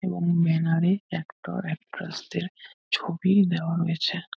এবং ব্যনার -এ actor actress -দের ছবি দেওয়া রয়েছে।